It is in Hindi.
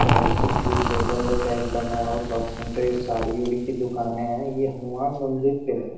और इसके ठीक देखा जाए टैग बर्नवाल क्लॉथ सेंटर साड़ी ओड़ी की दुकाने हैं। ये हनुमान मंदिर पे है।